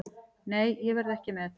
Nei, ég verð ekki með.